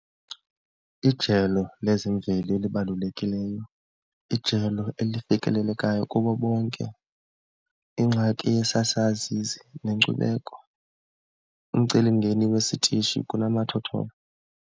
Ijelo lezemveli elibalulekileyo, ijelo elifikelelekayo kubo bonke, ingxaki yesaa sazisi nenkcubeko, umcelimngeni wesitishi kunomathotholo.